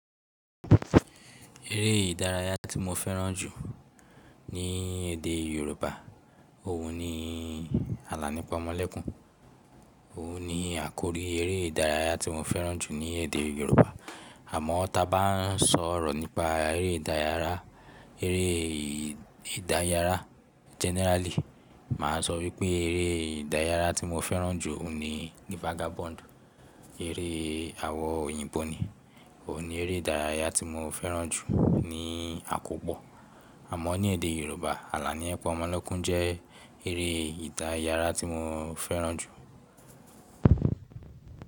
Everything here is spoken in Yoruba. Eré ìdárayá tí mo fẹ́ràn jù ní èdè Yorùbá òun ni Àlàní Pọmọlẹ́kún. Òun ni àkórí eré ìdárayá tí mo fẹ́ràn jù ní èdè Yorùbá. Àmọ́ tí a bá n sọ̀rọ̀ nípa eré ìdárayá, eré ìdárayá generally, mà á sọ wípé eré ìdárayá tí mo fẹ́ràn jù òun ni Vagabond. Eré àwọn òyìnbó ni. Òun ni eré ìdárayá tí mo fẹ́ràn jù ní àkọ́kọ́. Àmọ́ ní èdè Yorùbá Àlàní Pọmọlẹ́kún jẹ́ eré ìdárayá tí mo fẹ́ràn jù.